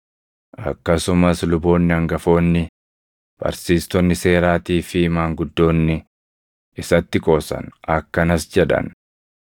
Akkasumas luboonni hangafoonni, barsiistonni seeraatii fi maanguddoonni isatti qoosan. Akkanas jedhan;